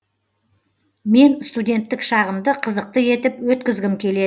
мен студенттік шағымды қызықты етіп өткізгім келеді